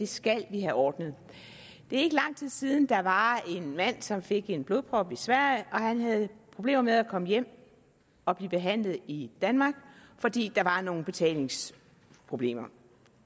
skal vi have ordnet det er ikke lang tid siden der var en mand som fik en blodprop i sverige han havde problemer med at komme hjem og blive behandlet i danmark fordi der var nogle betalingsproblemer